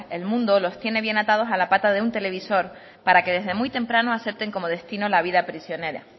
el mundo los tiene bien atados a la pata de un televisor para que desde muy temprano acepten como destino la vida prisionera